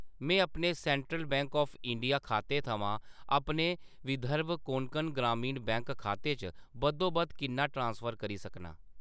में अपने central bank of India खाते थमां अपने विदर्भ कोंकण ग्रामीण बैंक खाते च बद्धोबद्ध किन्ना ट्रांसफर करी सकनां ?